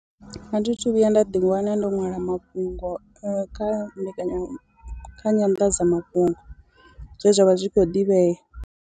A thi thu vhuya nda ḓi wana ndo nwala mafhungo kha kha mbekanya kha nyanḓadzamafhungo zwe zwa vha zwi khou ḓivhea.